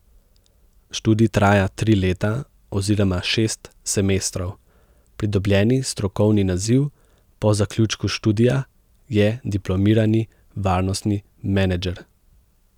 Študij traja tri leta oziroma šest semestrov, pridobljeni strokovni naziv po zaključku študija je diplomirani varnostni menedžer.